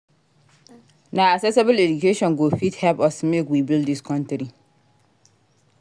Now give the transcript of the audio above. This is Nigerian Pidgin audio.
Na accessible education go fit help us make we build dis country.